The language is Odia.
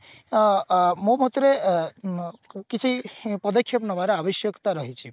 ଅ ଅ ମୋ ମତରେ ଅ ଉଁ କି ସେଇ ପଦକ୍ଷେପ ନେବାର ଆବଶ୍ୟକତା ରହିଛି